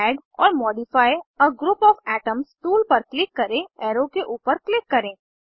add or modify a group of atoms tool पर click करें arrow के ऊपर क्लिक करें